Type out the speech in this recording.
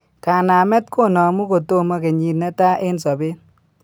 Kanamet konamu kotomo kenyit netaa en sobet